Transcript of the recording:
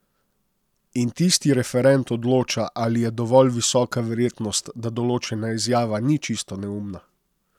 In tisti referent odloča, ali je dovolj visoka verjetnost, da določena izjava ni čisto neumna.